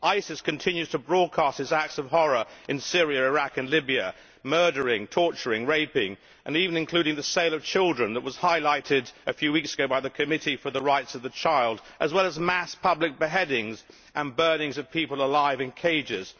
ISIS continues to broadcast its acts of horror in Syria, Iraq and Libya, murdering, torturing, raping and even selling children which was highlighted a few weeks ago by the Committee for the Rights of the Child as well as mass public beheadings and the burning of people alive in cages.